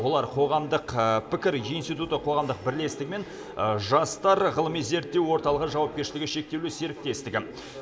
олар қоғамдық пікір институты қоғамдық бірлестігі мен жастар ғылыми зерттеу орталығы жауапкершілігі шектеулі серіктестігі